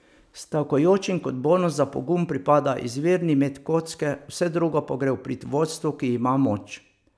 Stavkajočim kot bonus za pogum pripada izvirni met kocke, vse drugo pa gre v prid vodstvu, ki ima moč.